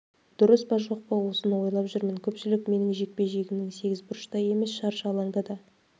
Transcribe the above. дұрыс па жоқ па осыны ойлап жүрмін көпшілік менің жекпе-жегімнің сегізбұрышта емес шаршы алаңда да